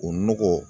O nɔgɔ